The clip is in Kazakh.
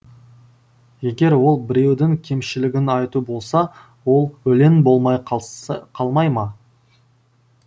егер ол біреудің кемшілігін айту болса ол өлең болмай қалмай ма